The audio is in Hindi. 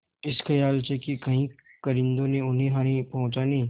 इस खयाल से कि कहीं कारिंदों ने उन्हें हानि पहुँचाने